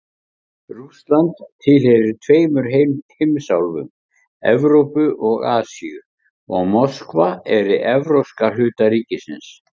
Rússland tilheyrir tveimur heimsálfum, Evrópu og Asíu, og Moskva er í evrópska hluta ríkisins.